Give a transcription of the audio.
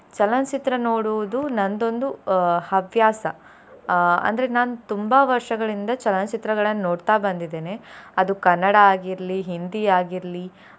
ಚಲನಚಿತ್ರ ನೋಡುವುದು ನಂದೊಂದು ಅಹ್ ಹವ್ಯಾಸ ಅಹ್ ಅಂದ್ರೆ ನಾನ್ ತುಂಬಾ ವರ್ಷಗಳಿಂದ ಚಲನಚಿತ್ರಗಳನ್ನ್ ನೋಡ್ತಾ ಬಂದಿದ್ದೇನೆ ಅದು ಕನ್ನಡ ಆಗಿರ್ಲಿ Hindi ಆಗಿರ್ಲಿ.